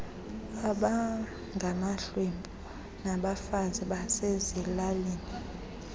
abangamahlwempu nabafazi basezilalini